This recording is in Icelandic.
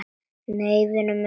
Nei, vinur minn.